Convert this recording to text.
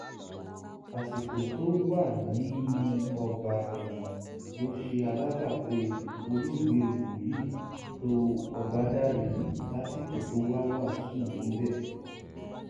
àsìkò tó sì wà nínú ọgbà ẹwọn náà ló ṣe alábàpàdé olóògbé wòlíì tó ọbádàrẹ lásìkò tó wá wàásù níbẹ